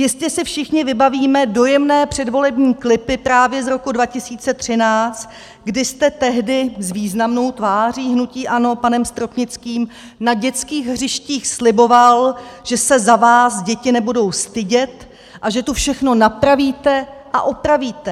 Jistě si všichni vybavíme dojemné předvolební klipy právě z roku 2013, kdy jste tehdy s významnou tváří hnutí ANO panem Stropnickým na dětských hřištích sliboval, že se za vás děti nebudou stydět a že tu všechno napravíte a opravíte.